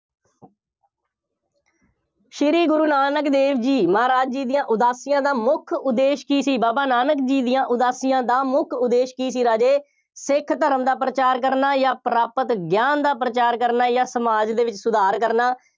ਸ਼੍ਰੀ ਗੁਰੂ ਨਾਨਕ ਦੇਵ ਜੀ ਮਹਾਰਾਜ ਜੀ ਦੀਆਂ ਉਦਾਸੀਆਂ ਦਾ ਮੁੱਖ ਉਦੇਸ਼ ਕੀ ਸੀ। ਬਾਬਾ ਨਾਨਕ ਜੀ ਦੀਆਂ ਉਦਾਸੀਆਂ ਦਾ ਮੁੱਖ ਉਦੇਸ਼ ਕੀ ਸੀ, ਰਾਜੇ, ਸਿੱਖ ਧਰਮ ਦਾ ਪ੍ਰਚਾਰ ਕਰਨਾ ਜਾਂ ਪ੍ਰਾਪਤ ਗਿਆਨ ਦਾ ਪ੍ਰਚਾਰ ਕਰਨਾ ਜਾਂ ਸਮਾਜ ਦੇ ਵਿੱਚ ਸੁਧਾਰ ਕਰਨਾ।